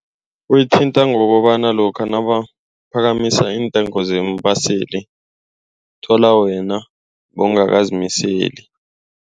Uyithinta ngokobana lokha nabaphakamise iintengo zeembaseli uthola wena bowungakazimiseli.